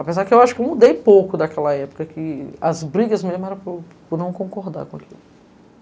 Apesar que eu acho que eu mudei pouco daquela época, que as brigas mesmo eram por não concordar com aquilo.